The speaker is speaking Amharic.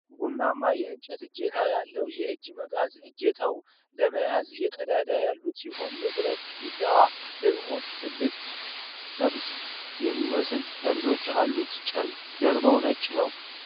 ቡናማ የእንጨት እጀታ ያለው የእጅ መጋዝ ። እጀታው ለመያዝ ቀዳዳዎች ያሉት ሲሆን የብረቱ ቢላዋ ደግሞ ትልልቅ፣ ጥርስ የሚመስሉ ጠርዞች አሉት። ጀርባው ነጭ ነው።